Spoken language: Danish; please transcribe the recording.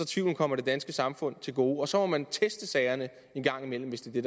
tvivlen kommer det danske samfund til gode og så må man teste sagerne en gang imellem hvis det er